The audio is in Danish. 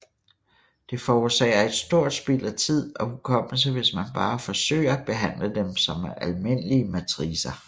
Det forårsager et stort spild af tid og hukommelse hvis man bare forsøger at behandle dem som almindelige matricer